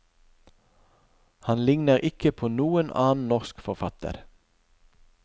Han ligner ikke på noen annen norsk forfatter.